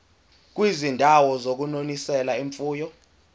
kwizindawo zokunonisela imfuyo